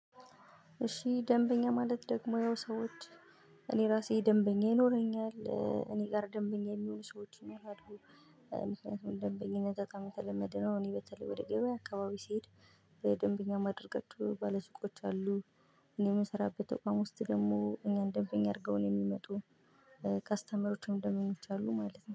እሺ ደንበኛ ማለት ደግሞ ያው ሰዎች እኔ ራሴ ደንበኛ ይኖረኛል እኔ ጋር ደንበኛ የሚሉ ሰዎች ነው ያድጉ። ምክንያቱም ደንበኛ ነገር ተለመደ ነው። እኔ በተለይ ወደ ገበያ አካባቢ ስሄድ። ደንበኛ ማድረግ ባለሱቆች አሉ። እኔ የምሰራበት ተቋም ውስጥ ደግሞ እኛን ደንበኛ አድርገው ነው የሚመጡ። ከስተመሮችን እንዲሆኑ ይቻላሉ ማለት ነው